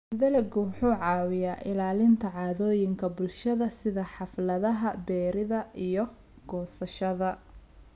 Dalaggu wuxuu caawiyaa ilaalinta caadooyinka bulshada sida xafladaha beeridda iyo goosashada.